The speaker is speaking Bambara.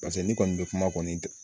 Paseke n'i kɔni bɛ kuma kɔni